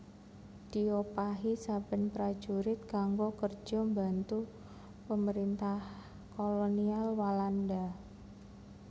Diopahi saben prajurit kanggo kerjo mbantu Pemerintah Kolonial Walanda